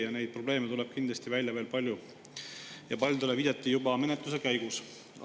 Ja neid probleeme tuleb kindlasti välja veel palju ja paljudele viidati juba menetluse käigus.